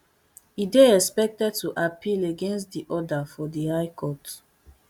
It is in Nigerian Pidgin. e dey expected to appeal against di order for di high court